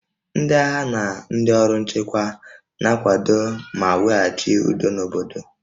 Ndị agha na ndị ọrụ nchekwa na-akwado ma weghachi udo n'obodo